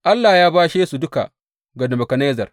Allah ya bashe su duka ga Nebukadnezzar.